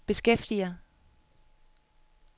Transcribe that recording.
beskæftiger